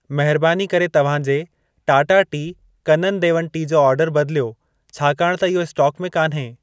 महरबानी करे तव्हां जे टाटा टी, कनन देवन टी जो ऑर्डर बदिलियो, छाकाणि त इहो स्टोक में कान्हे।